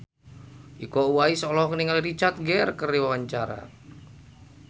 Iko Uwais olohok ningali Richard Gere keur diwawancara